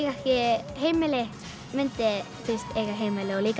ekki heimili myndi eiga heimili og líka